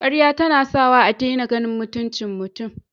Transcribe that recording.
Karya tana sawa a dena ganin mutuncin mutun